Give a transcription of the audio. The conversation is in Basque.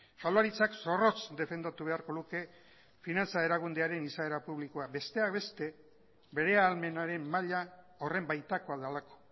jaurlaritzak zorrotz defendatu beharko luke finantza erakundearen izaera publikoa besteak beste bere ahalmenaren maila horren baitakoa delako